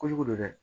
Kojugu don dɛ